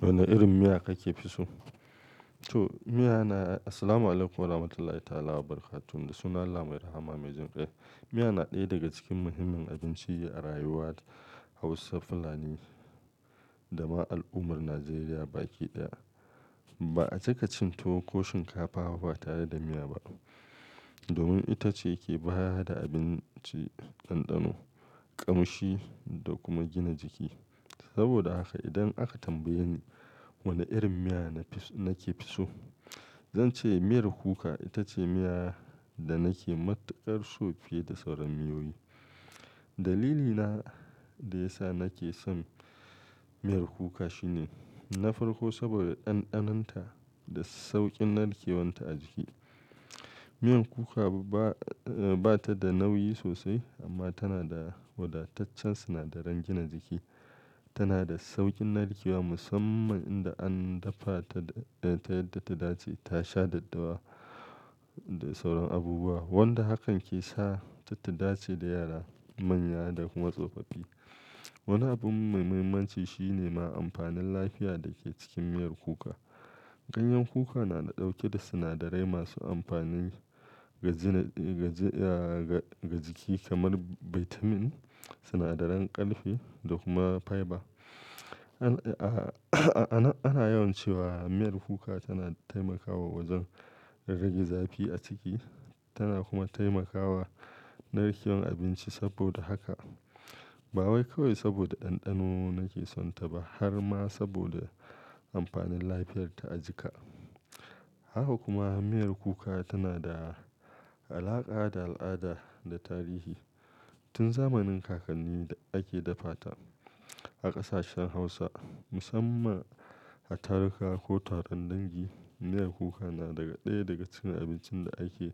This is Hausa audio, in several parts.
Wani irin miya kake fi so? To, miya na, assalamu alaikum warahmatullahi ta'ala barakatuh. Da sunan Allah mai rahama, mai jin kai. Miya na ɗaya daga cikin muhimmin abinci a rayuwar Hausa Fulani da ma al'ummar Najeriya baki ɗaya. Ba a cika cin tuwo ko shinkafa ba tare da miya ba, domin ita ce ke bada abinci, ɗanɗano, ƙamshi da kuma gina jiki. Saboda haka idan aka tambaye ni wani irin miya nafi so, zan ce miyar kuka ita ce miya da nake matuƙar so fiye da sauran miyoyi. Dalilina da ya sa nake son miyar kuka shine na farko saboda ɗanɗanonta da saukin narkewar ta a jiki. Miyar kuka ba, eh, ba ta da nauyi sosai amma tana da wadataccen sinadaran gina jiki. Tana da saukin narkewa musamman inda an dafa ta, ta yadda ta dace, ta sha daddawa da sauran abubuwa wanda hakan ke sa ta dace da yara, manya da kuma tsofaffi. Wani abun muhimminci shi ne ma amfanin lafiya da ke cikin miyar kuka. Ganyen kuka na ɗauke da sinadarai masu amfani ga gina jiki kamar vitamin, sinadaran kalfi da kuma fiber. Anan ana yawan cewa miyar kuka tana taimakawa wajen rage zafi a ciki tana kuma taimakawa narkewar abinci. Saboda haka ba wai kawai saboda ɗanɗano nake sonta ba har ma saboda amfanin lafiyarta a jika. Haka kuma miyar kuka tana da alaƙa da al'ada da tarihi. Tun zamanin kakanni ake dafa ta a ƙasashen Hausa musamman a taruka ko taron dangi. Miyar kuka na daga ɗaya daga cikin abincin da ake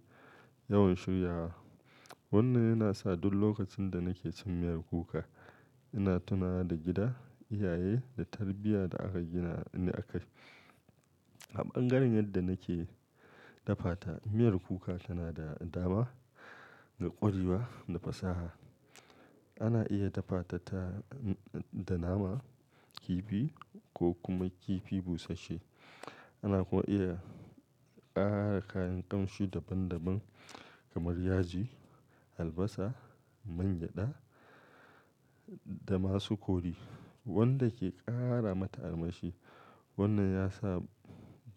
yawan shirya wa. Wannan yana sa duk lokacin da nake cin miyar kuka ina tunawa da gida, iyaye, da tarbiyya da aka gina ni akai. A ɓangaren yadda nake dafa ta, miyar kuka tana da dama ga ƙwarewa da fasaha. Ana iya dafa ta, ta da nama, kifi ko kuma kifi busashe. Ana kuma iya ƙara kayan ƙamshi daban daban kamar yaji, albasa, man gyada da masu kori wanda ke ƙara mata armashi. Wannan ya sa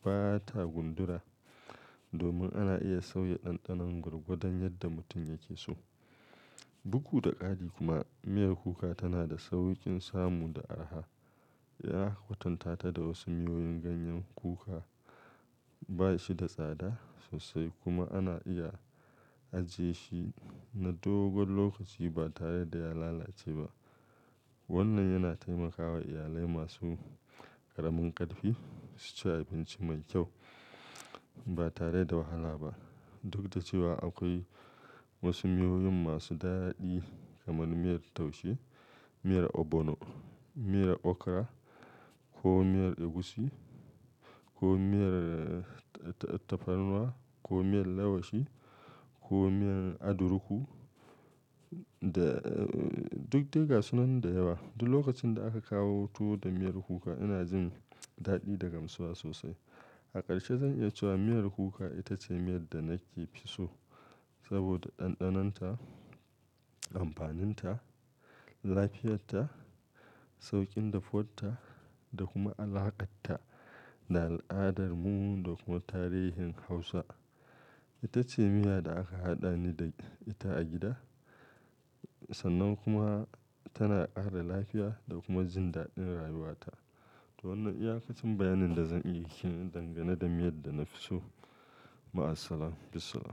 ba ta gundura domin ana iya sauya ɗanɗanon ta gwargwadon yadda mutum yake so. Duk da ƙari kuma miyar kuka tana da saukin samu da araha. Ya kwatantata da wasu miyoyin, ganyen kuka ba shi da tsada sosai kuma ana iya ajiye shi na dogon lokaci ba tare da ya lalace ba. Wannan yana taimakawa iyalai masu ƙaramin ƙarfi su ci abinci mai kyau ba tare da wahala ba. Duk da cewa akwai wasu miyoyin masu daɗi kamar miyar taushe, miyar ogbono, miyar okra ko miyar egusi ko miyar, eh, tafarnuwa ko miyar lewashi ko miyan adiruku. Duk dai gasu nan da yawa. Duk lokacin da aka kawo tuwo da miyar kuka ina jin daɗi da gamsuwa sosai. A ƙarshe zan iya cewa miyar kuka ita ce miyar da nake fi so saboda ɗanɗanonta, amfaninta, lafiyarta, sauƙin dafuwanta da kuma alaƙarta da al'adarmu da kuma tarihin Hausa. Ita ce miya da aka haɗa ni da ita a gida. Sannan kuma tana ƙara lafiya da kuma jin daɗin rayuwata. To wannan iyaƙacin bayanin da zan iya yi dangane da miyar da nafi so. Ma'asalama fissalam.